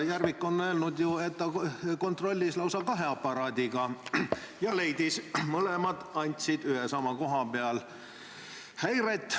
Järvik on ju öelnud, et ta kontrollis lausa kahe aparaadiga ja mõlemad andsid ühe ja sama koha peal häiret.